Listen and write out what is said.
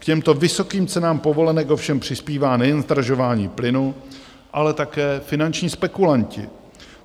K těmto vysokým cenám povolenek ovšem přispívá nejen zdražování plynu, ale také finanční spekulanti.